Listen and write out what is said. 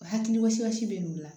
Hakilimasiyɔn si bɛ n'o la